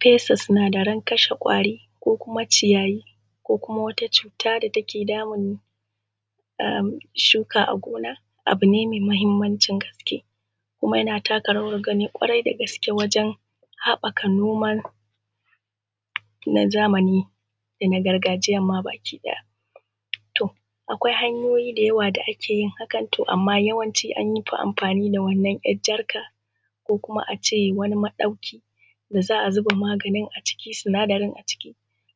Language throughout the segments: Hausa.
Fesa sinadarai na kashe ƙwari ko ciyayi ko kuma wata cuta da take damun shuka a gona abu ne mai mahimmancin gaske kuma yana taka rawar gani ƙwarai dagaske wajen haɓaka noman zamani da na gargajiyan ma baki ɗaya. Akwai hanya da yawa da ake yin hakan, to amma yawanci an fi amfani da wannan yar jarkar konkuma a ce wani madaukaki da za a zuba maganin a ciki konkuma sinadarai a ciki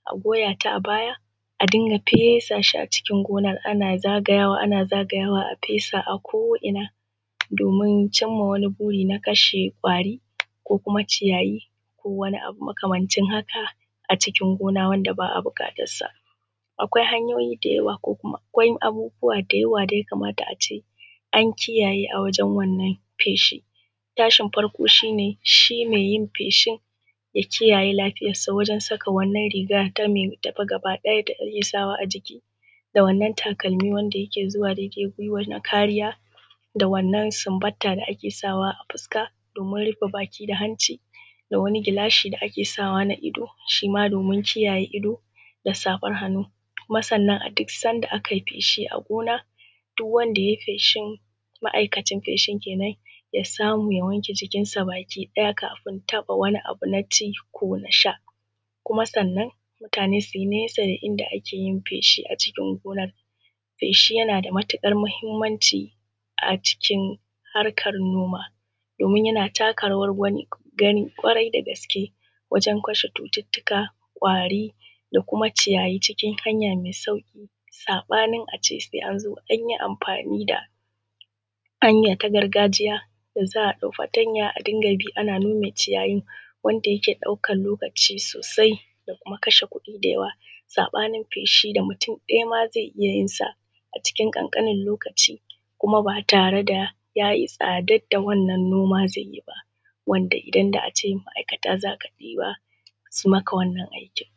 a goya a baya a dinga fesa shi a cikin gona. Ana zagayawa ana zagayawa ana fesawa a ko'ina domin cimma wani buri na kashe kashe ƙwari ko kuma ciyayi ko wani abu makamancin haka wanda ba a buƙata haka a cikin gona. Akwai hanyoyi da yawa, akwai abubuwa da yawa da ya kamata a ce an kiyaye a wajen wannan feshi. Tashin farko shi shi mai yin wannan feshin ya kiyaye lafiyarsa ta wajen saka wannan riga da ake sawa a jiki da wannan takalmi da yake zuwa daidai guiwa don kariya da wannan subanta da ake sawa a fuska don kariya domin rufe baki da hanci da wani gilashi da ake sawa na ido shi ma domin kiyaye ido da safar hannu. Kuma sannan duk sanda aka yi feshi a gona duk wanda ya yi feshi ma'aikacin feshin ya samu ya wanke jikinsa baki ɗaya kafin taba wani abu na ci ko na sha. Kuma sannan ya yi nesa da inda ake yin feshi a cikin gonar. Feshi yana da matuƙar mahimmanci a cikin harkar noma domin yana taka rawar gani ƙwarai dagaske wajen kashe cututtuka da kuma ƙwari cikin hanya mai sauƙi, saɓanin a ce sai an zo an yi amfani da haya ta gargajiya da za a dauka fatanya ana bi sai an nkme ciyayin wanda yake ɗaukar lokaci sosai da kuma kashe kuɗi da yawa saɓanin feshi da mutu ɗaya ma zai iya yinsa a cikin ƙanƙanin lokaci kuma ba tare da ya yi tasadarvda wannan noma zai yi ba, wanda idan da a a ce ma'aikata za ka ɗiba za su yi maka irin wannan aikin